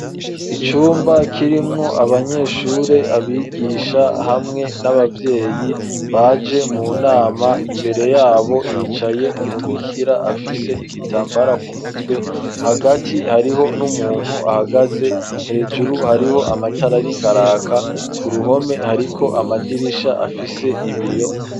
Icumba, kirimwo abanyeshure, abigisha, hamwe n'abavyeyi, baje mu nama; imbere y'abo, hicaye umubikira, afise igitambara ku mutwe; hagati, hariho n'umuntu ahagaze; hejuru, hariho amatara ariko araka; ku ruhome, hariko amadirisha, afise ibiyo.